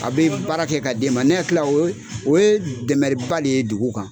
A be baara kɛ ka d'e ma. Ne ɲɛKila o ye dɛmɛ ba de ye dugu kan.